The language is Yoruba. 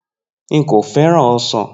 Nko feran osan.